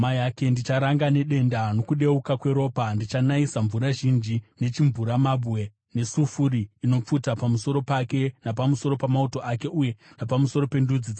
Ndicharanga nedenda nokudeuka kweropa; ndichanayisa mvura zhinji, nechimvuramabwe nesafuri inopfuta pamusoro pake napamusoro pamauto ake uye napamusoro pendudzi dzaanadzo.